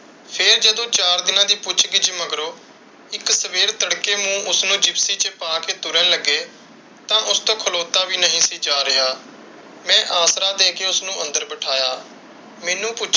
ਫਿਰ ਜਦੋਂ ਚਾਰ ਦਿਨਾਂ ਦੀ ਪੁੱਛ ਕਿਛੁ ਮਗਰੋਂ, ਇੱਕ ਸਵੇਰ ਤੜਕੇ ਨੂੰ ਉਸਨੂੰ ਜਿਪਸੀ ਚ ਪਾ ਕੇ ਤੁਰਨ ਲੱਗੇ ਤਾਂ ਉਸ ਤੋਂ ਖਲੋਤਾ ਵੀ ਨਹੀਂ ਸੀ ਜਾ ਰਿਹਾ। ਮੈਂ ਆਸਰਾ ਦੇ ਕ ਉਸ ਨੂੰ ਅੰਦਰ ਬਿਠਾਇਆ।